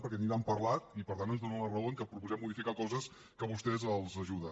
perquè ni n’han parlat i per tant ens donen la raó en que proposem modificar coses que a vostès els ajuda